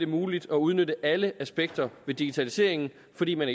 muligt at udnytte alle aspekter ved digitaliseringen fordi man